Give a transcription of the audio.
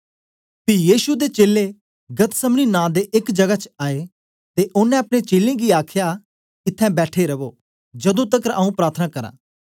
पी यीशु ते चेलें गतसमनी नां दे एक जगह च आए ते ओनें अपने चेलें गी आखया इत्थैं बैठी रवो जदू तकर आऊँ प्रार्थना करा